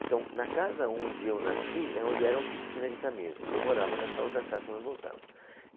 Então, na casa onde eu nasci, é onde era a oficina de camisas, e eu morava nessa outra casa quando nós voltamos.